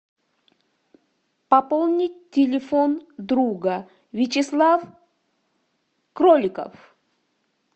пополнить телефон друга вячеслав кроликов